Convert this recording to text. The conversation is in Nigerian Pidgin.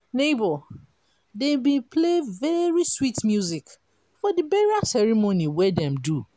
nebor dem bin play very sweet music for the burial ceremony wey dem do.